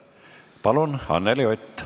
Palun, Anneli Ott!